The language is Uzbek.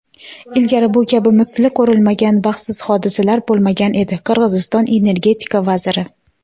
"Ilgari bu kabi misli ko‘rilmagan baxtsiz hodisalar bo‘lmagan edi" – Qirg‘iziston energetika vaziri.